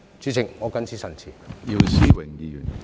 主席，我謹此陳辭。